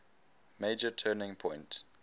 major turning point